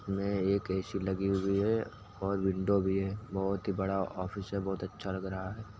में एक ए.सी. लगी हुई है और विंडो भी है। बहुत बड़ा ऑफिस है। बहुत अच्छा लग रहा है।